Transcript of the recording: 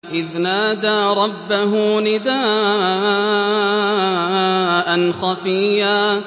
إِذْ نَادَىٰ رَبَّهُ نِدَاءً خَفِيًّا